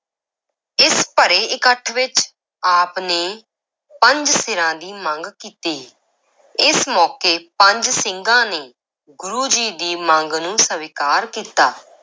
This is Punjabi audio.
ਇਸ ਭਰੇ ਇਕੱਠ ਵਿੱਚ ਆਪ ਨੇ ਪੰਜ ਸਿਰਾਂ ਦੀ ਮੰਗ ਕੀਤੀ, ਇਸ ਮੌਕੇ ਪੰਜ ਸਿੰਘਾਂ ਨੇ ਗੁਰੂ ਜੀ ਦੀ ਮੰਗ ਨੂੰ ਸਵੀਕਾਰ ਕੀਤਾ।